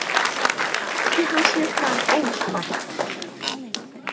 Nýtti hann sér það óspart.